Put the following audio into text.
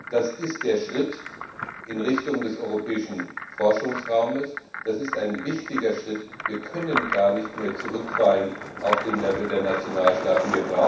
Das ist ein Schritt in Richtung des Europäischen Forschungsraumes, das ist ein wichtiger Schritt, wir können gar nicht mehr zurückfallen auf das Niveau der Nationalstaaten.